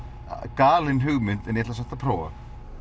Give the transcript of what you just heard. galin hugmynd en ég ætla samt að prófa